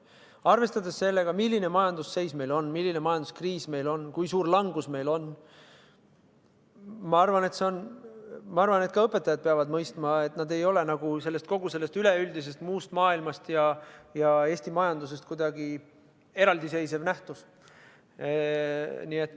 Arvestades seda, milline on meie majandusseis – milline majanduskriis meil on, kui suur langus meil on –, arvan ma, et ka õpetajad peavad mõistma, et nad ei ole kogu muust maailmast ja Eesti majandusest kuidagi eraldi seisev nähtus.